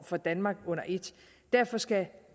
for danmark under et derfor skal